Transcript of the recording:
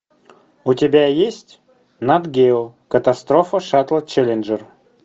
у тебя есть нат гео катастрофа шаттла челленджер